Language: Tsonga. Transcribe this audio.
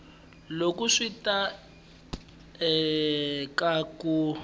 loko swi ta eka ku